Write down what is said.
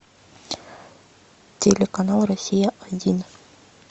телеканал россия один